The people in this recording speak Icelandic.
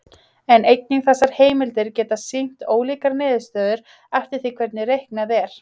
en einnig þessar heimildir geta sýnt ólíkar niðurstöður eftir því hvernig reiknað er